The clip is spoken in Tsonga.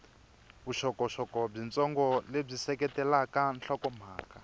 vuxokoxoko byitsongo lebyi seketelaka nhlokomhaka